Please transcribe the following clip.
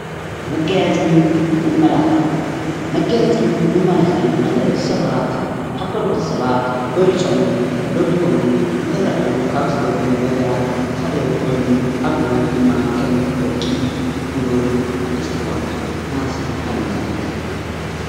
መጋየፅን መመላኽዕን፡- መጋየፅን መመላኽዕን ማለት ሰባት ካብ ካልኦት ሰባት በሊፆምን ደሚቖምን ንኽራኣዩ ካብ ዝገብሩ ነገራት ሓደ ኾይኑ ኣብነት ድማ ከም ወርቂ፣ ብሩር፣ ሓደሽቲ ክዳውንቲ፣ ናሃስን ኣልማዝን ክንወስድ ንኽእል፡፡